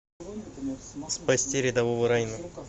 спасти рядового райана